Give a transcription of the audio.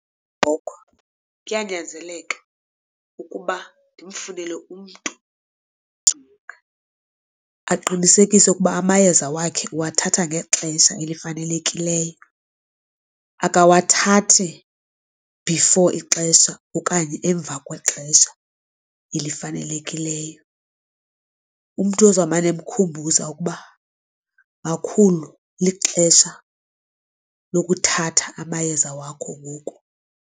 Ugogo kuyanyanzeleka ukuba ndimfunele umntu aqinisekise ukuba amayeza wakhe uwathatha ngexesha elifanelekileyo. Akawathathi before ixesha okanye emva kwexesha elifanelekileyo umntu ozawumane emkhumbuza ukuba makhulu lixesha lokuthatha amayeza wakho ngoku.